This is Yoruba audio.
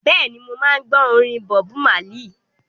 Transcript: Bẹ́ẹ̀ni, mo máa ń gbọ́ orin Bọbu Málì.